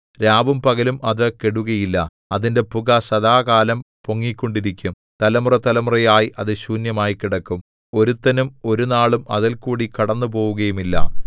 രാവും പകലും അത് കെടുകയില്ല അതിന്റെ പുക സദാകാലം പൊങ്ങിക്കൊണ്ടിരിക്കും തലമുറതലമുറയായി അത് ശൂന്യമായി കിടക്കും ഒരുത്തനും ഒരുനാളും അതിൽകൂടി കടന്നുപോവുകയുമില്ല